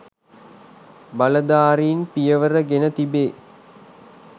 බලධාරීන් පියවර ගෙන තිබේ